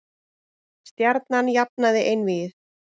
Stjarnan jafnaði einvígið